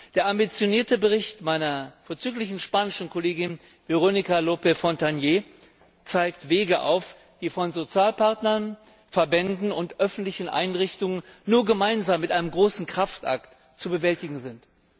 Der ambitionierte Bericht meiner vorzüglichen spanischen Kollegin Verónica Lope Fontagné zeigt Wege auf, die von Sozialpartnern, Verbänden und öffentlichen Einrichtungen nur gemeinsam mit einem großen Kraftakt zu bewältigen sind.